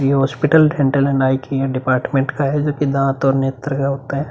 ये hospital dental and eye कीय department का है जोकि दाँत और नेत्र का होता है।